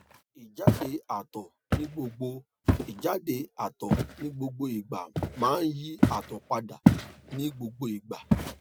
ijade ato nigbogbo ijade ato nigbogbo igba ma yi ato pada ni gbogbo igba